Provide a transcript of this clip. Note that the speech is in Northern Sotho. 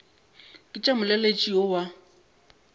ke tša molaletši yo wa